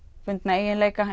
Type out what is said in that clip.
eiginleika